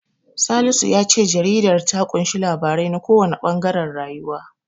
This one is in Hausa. Salisu ya ce jaridar ta ƙunshi labarai na kowanne ɓangaren rayuwa.